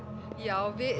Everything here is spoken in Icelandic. já